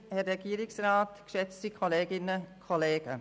Kommissionssprecherin der SiK-Minderheit.